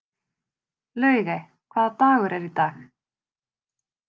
Laugey, hvaða dagur er í dag?